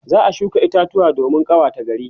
za'a shuka itatuwa domin ƙawata gari